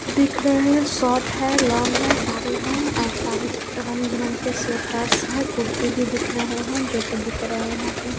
दिख रहे हैं शोर्ट है लॉन्ग है सारे हैं सारे रंग-बिरंगे स्वेटर्स हैं कुर्ती भी दिख रहे हैं जो कि बिक रहे हैं यहाँ पे।